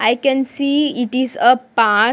i can see it is a park--